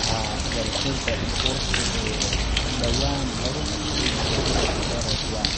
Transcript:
Haa, warshadda burka ee dhawaan lagu rakibay magaalada Eldoret waa